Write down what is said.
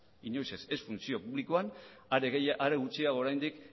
ez funtzio publikoan are gutxiago oraindik